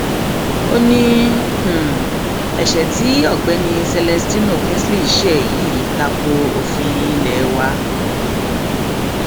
ó ní um ẹṣẹ tí ọgbẹni celestino kingsley ṣe yìí ta ko òfin ilé wa um